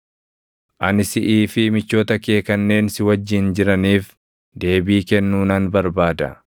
“Ani siʼii fi michoota kee kanneen si wajjin jiraniif deebii kennuu nan barbaada.